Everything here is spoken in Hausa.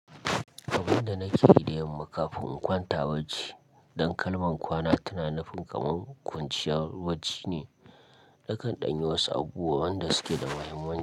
Abun da nake yi da yamma kafin in kwanta bacci, dan kalman kwana tana nufin kaman kwanciyar bacci ne. Nakan ɗan yi wasu abubuwa wanda suke da mahimmanci.